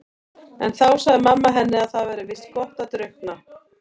En þá sagði mamma henni að það væri víst gott að drukkna.